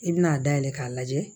I bɛna a dayɛlɛ k'a lajɛ